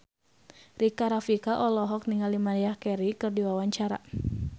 Rika Rafika olohok ningali Maria Carey keur diwawancara